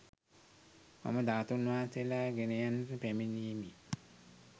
මම ධාතූන් වහන්සේලා ගෙනයන්නට පැමිණියෙමි